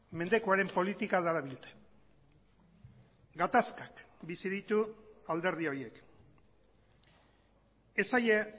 mendekuaren politika darabilte gatazkak bizi ditu alderdi horiek ez zaie